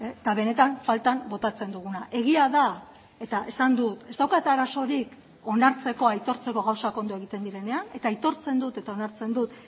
eta benetan faltan botatzen duguna egia da eta esan dut ez daukat arazorik onartzeko aitortzeko gauzak ondo egiten direnean eta aitortzen dut eta onartzen dut